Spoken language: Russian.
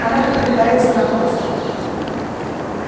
она попытается напасть